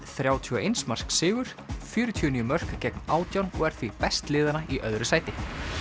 þrjátíu og eins marks sigur fjörutíu og níu mörk gegn átján og er því best liðanna í öðru sæti